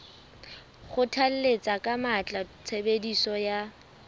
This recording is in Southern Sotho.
kgothalletsa ka matla tshebediso ya